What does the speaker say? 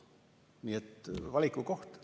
Nii et valiku koht.